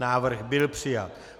Návrh byl přijat.